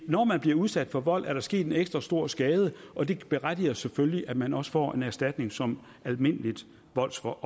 når man bliver udsat for vold er der sket en ekstra stor skade og det berettiger selvfølgelig til at man også får en erstatning som et almindeligt voldsoffer